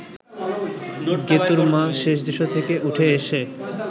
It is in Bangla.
গেতুঁর মা শেষ দৃশ্য থেকে উঠে এসে